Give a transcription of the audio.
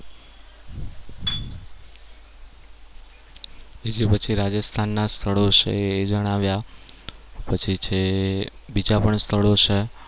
બીજી પછી રાજસ્થાનના સ્થળો છે એ જણાવ્યા, પછી છે બીજા પણ સ્થળો છે.